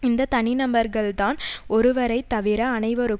இந்த தனிநபர்கள்தான் ஒருவரைத்தவிர அனைவரும்